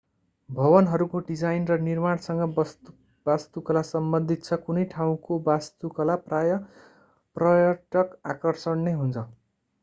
भवनहरूको डिजाइन र निर्माणसँग वास्तुकला सम्बन्धित छ कुनै ठाउँको वास्तुकला प्रायः पर्यटक आकर्षण नै हुन्छ